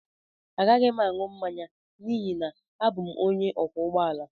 Agaghị m aṅụ mmanya n'ihi na abụ m onye ọkwọ ụgbọ ala